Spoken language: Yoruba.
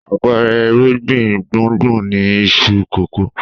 Àpẹẹrẹ irúgbìn gbùngbùn ni iṣu kòkó.